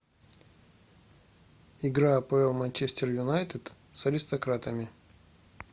игра апл манчестер юнайтед с аристократами